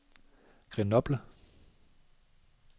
Grenoble